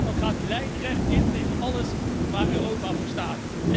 Dat gaat lijnrecht in tegen alles waar Europa voor staat.